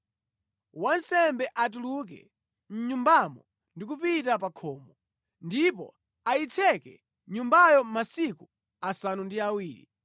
wansembe atuluke mʼnyumbamo ndi kupita pa khomo, ndipo ayitseke nyumbayo masiku asanu ndi awiri.